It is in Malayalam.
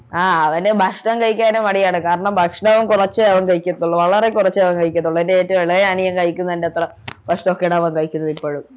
ആഹ് അവനു ഭക്ഷണം കഴിക്കാനും മടിയാണ് കാരണം ഭക്ഷണവും കൊറച്ചേ അവൻ കഴിക്കത്തുള്ളൂ വളരെ കൊറച്ചേ അവൻ കഴിക്കത്തുള്ളൂ എൻ്റെ ഏറ്റവും ഇളയ അനിയൻ കഴിക്കുന്നത്ര ഭക്ഷണക്കെയാണ് അവൻ കഴിക്കുന്നതിപ്പോഴും